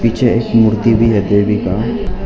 पीछे एक मूर्ति भी है देवी का।